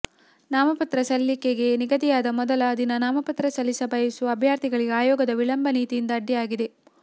ನಾಮಪತ್ರ ಸಲ್ಲಿಕೆಗೆ ನಿಗದಿಯಾದ ಮೊದಲ ದಿನ ನಾಮಪತ್ರ ಸಲ್ಲಿಸ ಬಯಸುವ ಅಭ್ಯರ್ಥಿಗಳಿಗೆ ಆಯೋಗದ ವಿಳಂಬ ನೀತಿಯಿಂದ ಅಡ್ಡಿಯಾಗಿದೆ